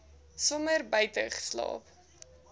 somer buite geslaap